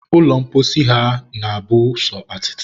ụlọ mposi ha na-abụ sọ atịtị